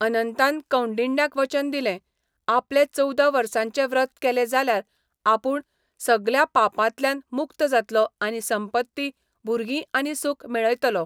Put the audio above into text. अनंतान कौंडिण्याक वचन दिलें, आपणे चवदा वर्सांचें व्रत केलें जाल्यार आपूण सगळ्या पापांतल्यान मुक्त जातलों आनी संपत्ती, भुरगीं आनी सूख मेळयतलों.